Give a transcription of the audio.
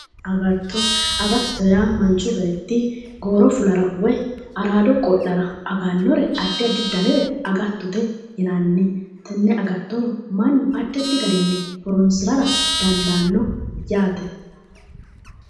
Agatto, agattote yaa manchu beetti gooro fulara woy araado qo'lara agannore addi addi danire agattote yinanni. Tenne agatto mannu addi addi garinni horoonsirara dandaanno yaate.